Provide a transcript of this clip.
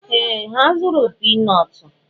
Ee! Ha zụrụ pii nọọtụ